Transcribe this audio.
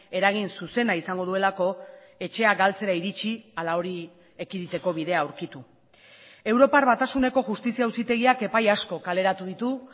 eragin zuzena izango duelako etxea galtzera iritsi ala hori ekiditeko bidea aurkitu europar batasuneko justizia auzitegiak epai asko kaleratu ditu